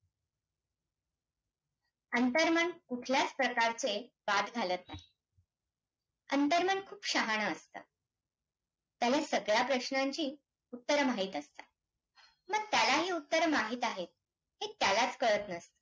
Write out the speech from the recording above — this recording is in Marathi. अंतरमन कुठल्याचं प्रकारचे वाद घालत नाही. अंतरमन खूप शहाण असतं, त्यामुळे सगळ्या प्रश्नांची उत्तरं माहित असतात. मग त्यालाही उत्तरं माहित आहे, हे त्यालाचं कळतं नसतं.